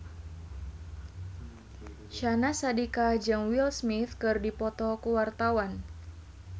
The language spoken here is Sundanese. Syahnaz Sadiqah jeung Will Smith keur dipoto ku wartawan